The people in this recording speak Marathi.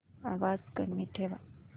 आवाज कमी ठेवा